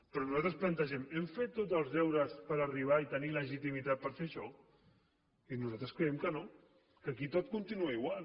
però nosaltres plantegem hem fet tots els deures per arribar i tenir legitimitat per fer això i nosaltres creiem que no que aquí tot continua igual